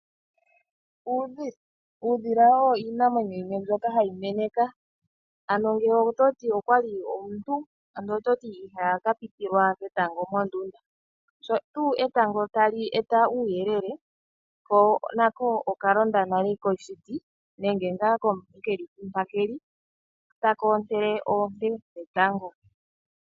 Uudhila, uudhila owo iinamwenyo yimwe mbyoka hayi meneka. Ano ngele ototi okwali omuntu ando ihapitilwa ketango mondunda, sho tuu etango tali eta uuyelele ko nako okalonda nale koshiti nenge ngaa keli mpa keli ta koontele oonte dhetango.